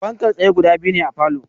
Fankar tsaye guda biyu ne a falow